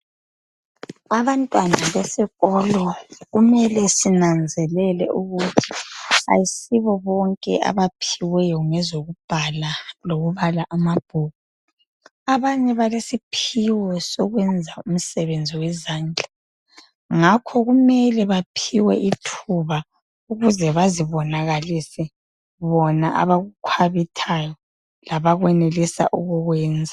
Abantwana besikolo kumele sinanzelele ukuba ayisibobonke abaphiweyo ngezokubhala lokubala amabhuku. Abanye balesiphiwo sokwenza umsebenzi wezandla .Ngakho kumele baphiwe ithuba ukuze bazibonakalise bona abakukhwabithayo labakwenelisa ukukwenza.